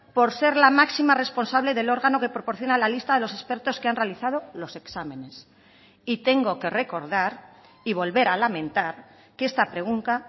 por ser la máxima responsable del órgano que proporciona la lista de los expertos que han realizado los exámenes y tengo que recordar y volver a lamentar que esta pregunta